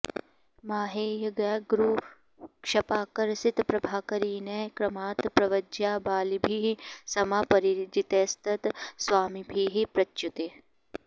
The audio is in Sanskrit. माहेय ज्ञ गुरु क्षपा कर सित प्राभाकरीनैः क्रमात् प्रव्रज्या बलिभिः समा परजितैस्तत् स्वामिभिः प्रच्युतिः